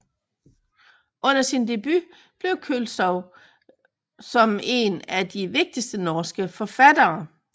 Under sin debut blev Køltzow som en af de vigtigste norske kvindelige forfattere